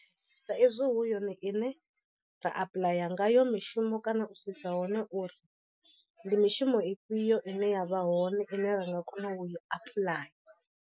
Sa izwi hu yone ine ra apuḽaya ngayo mishumo kana u sedza hone uri ndi mishumo ifhio ine ya vha hone ine ra nga kona u i apuḽaya.